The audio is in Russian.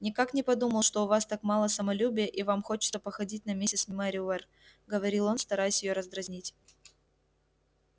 никак не подумал что у вас так мало самолюбия и вам хочется походить на миссис мерриуэр говорил он стараясь её раздразнить